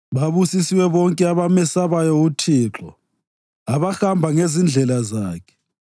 Babusisiwe bonke abamesabayo uThixo, abahamba ngezindlela zakhe.